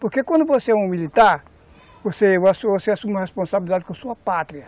Porque quando você é um militar, você assume você assume uma responsabilidade com a sua pátria.